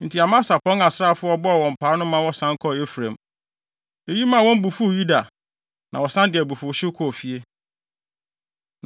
Enti Amasia pɔn asraafo a ɔbɔɔ wɔn paa no ma wɔsan kɔɔ Efraim. Eyi maa wɔn bo fuw Yuda, na wɔsan de abufuwhyew kɔɔ fie.